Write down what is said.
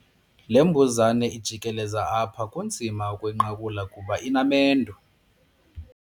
Le mbuzane ijikeleza apha kunzima ukuyinqakula kuba inamendu.